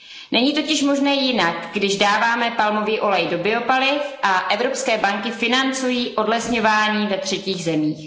Není totiž možné jinak, když dáváme palmový olej do biopaliv a evropské banky financují odlesňování ve třetích zemích.